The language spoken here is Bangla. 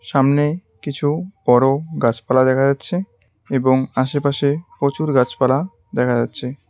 সামনে কিছু বড়ো গাছপালা দেখা যাচ্ছে এবং আশেপাশে প্রচুর গাছপালা দেখা যাচ্ছে।